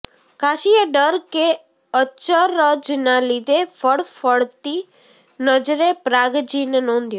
કાશીએ ડર કે અચરજના લીધે ફ્ળફ્ળતી નજરે પ્રાગજીને નોંધ્યો